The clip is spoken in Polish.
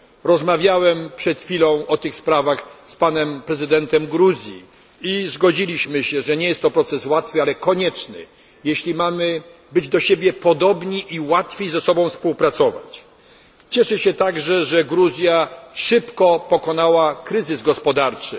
Rozmawiałem przed chwilą o tych sprawach z panem prezydentem Gruzji i zgodziliśmy się, że nie jest to proces łatwy, ale konieczny, jeśli mamy być do siebie podobni i łatwiej ze sobą współpracować. Cieszę się także, że Gruzja szybko pokonała kryzys gospodarczy.